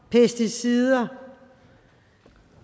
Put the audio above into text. og pesticider